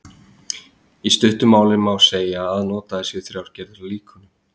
stuttu máli má segja að notaðar séu þrjár gerðir af líkönum